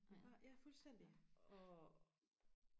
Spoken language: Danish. nej ja fuldstændig og